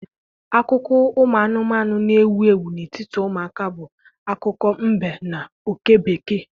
Akụkọ ụmụ anụmanụ na-ewu ewu n'etiti ụmụaka bụ akụkọ mbe na oke bekee